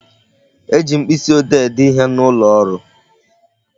E ji mkpịsị ode ede ihe n'ụlọ ọrụ